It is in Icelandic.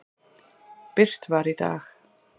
birt var í dag.